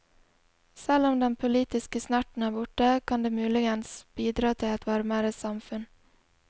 Selv om den politiske snerten er borte, kan det muligens bidra til et varmere samfunn.